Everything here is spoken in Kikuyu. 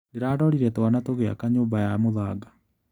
Ndĩrarorire twana tũgĩaka nyũmba ya mũthanga.